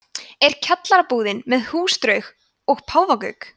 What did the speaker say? er kjallaraíbúðin með húsdraug og páfagauk